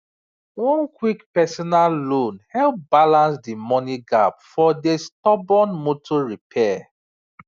one quick personal loan help balance d money gap for dey sudden motor repair